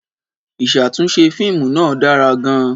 Ìṣàtúnṣe fíìmù náà dára gan-an.